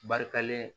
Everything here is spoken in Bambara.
Barikalen